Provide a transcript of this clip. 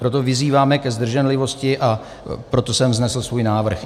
Proto vyzýváme ke zdrženlivosti a proto jsem vznesl svůj návrh.